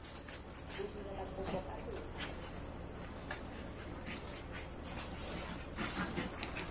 o dirileng kopo ka lona